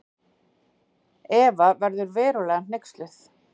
Eva verður verulega hneyksluð.